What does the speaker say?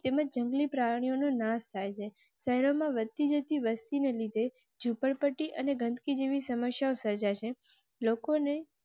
તેમજ અન્ય પ્રાણીઓ નો નાશ થાય છે. શહેરમાં વધ તી જતી વસ્તી ને લીધે ઝુપડપટ્ટી અને ગંદકી જેવી સમસ્યાઓ સર્જા શે લોકોને